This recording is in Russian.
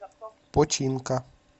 починка